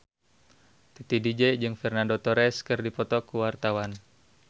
Titi DJ jeung Fernando Torres keur dipoto ku wartawan